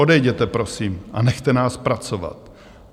Odejděte prosím a nechte nás pracovat.